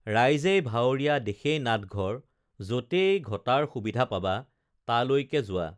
ৰাইজেই ভাৱৰীয়া দেশেই নাটঘৰ যতেই ঘটাৰ সুবিধা পাবা তালৈকে যোৱা